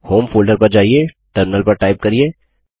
home folder पर जाइये terminal पर टाइप करिये